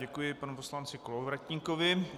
Děkuji panu poslanci Kolovratníkovi.